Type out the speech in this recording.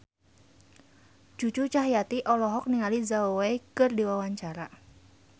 Cucu Cahyati olohok ningali Zhao Wei keur diwawancara